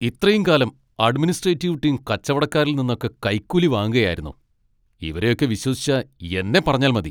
ഇത്രയും കാലം administrative team കച്ചവടക്കാരിൽ നിന്നൊക്കെ കൈക്കൂലി വാങ്ങുകയായിരുന്നു, ഇവരെയൊക്കെ വിശ്വസിച്ച എന്നെ പറഞ്ഞാൽ മതി.